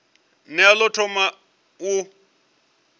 ne a ḓo thoma u